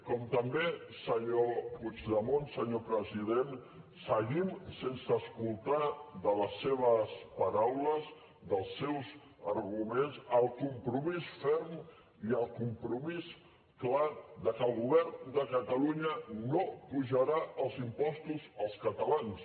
com també senyor puigdemont senyor president seguim sense escoltar de les seves paraules dels seus arguments el compromís ferm i el compromís clar que el govern de catalunya no apujarà els impostos als catalans